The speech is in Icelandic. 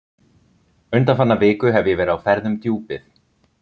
Undanfarna viku hef ég verið á ferð um Djúpið.